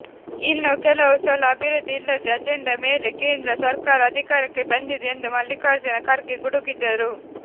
ಇನ್ನೂ ಕೆಲವು ಸಲ ಅಭಿವೃದ್ಧಿ ಇಲ್ಲದೆ ಅಜೆಂಡಾ ಮೇಲೆ ಕೇಂದ್ರ ಸರ್ಕಾರ ಅಧಿಕಾರಕ್ಕೆ ಬಂದಿದೆ ಎಂದು ಮಲ್ಲಿಕಾರ್ಜುನ ಖರ್ಗೆ ಗುಡಗಿದರು